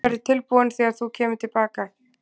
Þinn verður tilbúinn þegar þú kemur til baka.